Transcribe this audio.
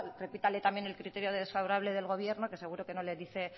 repítale también el criterio desfavorable del gobierno que seguro que no le dice